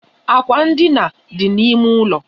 Akwa ndina dị na ímé ụlọ.